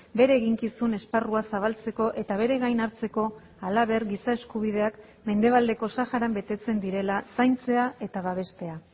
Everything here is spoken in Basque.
bere eginkizun esparrua zabaltzeko eta bere gain hartzeko halaber giza eskubideak mendebaldeko saharan betetzen direla zaintzea eta babestea